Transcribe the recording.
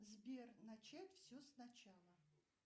сбер начать все сначала